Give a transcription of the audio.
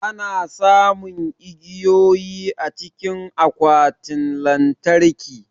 Ana samun igiyoyi cikin akwatin lantarki